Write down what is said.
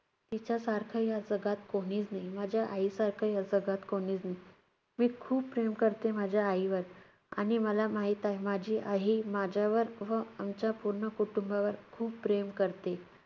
तिच्यासारखं या जगात कोणीच नाही, माझ्या आईसारखं या जगात कोणीच नाही. मी खूप प्रेम करते माझ्या आईवर. आणि मला माहित आहे, माझी आई ही~ माझ्यावर व आमच्या पूर्ण कुटुंबावर खूप प्रेम करते.